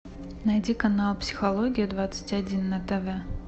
найди канал психология двадцать один на тв